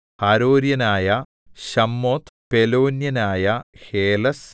ഹരോര്യനായ ശമ്മോത്ത് പെലോന്യനായ ഹേലെസ്